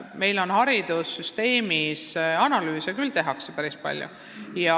Meie haridussüsteemis tehakse analüüse küll päris palju.